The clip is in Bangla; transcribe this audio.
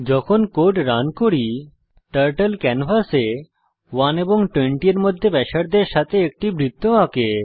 যখন আমরা কোড রান করি টার্টল ক্যানভাসে 1 এবং 20 এর মধ্যে ব্যাসার্ধের সাথে একটি বৃত্ত আঁকে